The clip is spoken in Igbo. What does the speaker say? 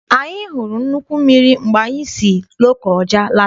Anyị hụrụ nnukwu mmiri mgbe anyị si Lokoja n'alata.